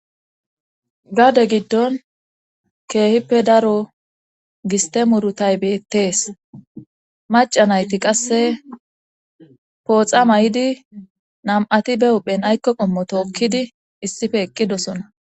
Gade giddon keehippe daro gistemurutay beettees maca nayti qasse pooxa may7idi nam7ati be uphen aykko qommo tookkidi issife eqqidosona.